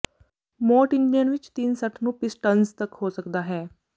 ਮੋਟ engine ਵਿਚ ਤਿੰਨ ਸੱਠ ਨੂੰ ਪਿਸਟਨਜ਼ ਤੱਕ ਹੋ ਸਕਦਾ ਹੈ